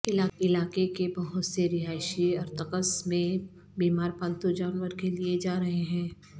علاقے کے بہت سے رہائشی ارکتسک میں بیمار پالتو جانور کے لئے جا رہے ہیں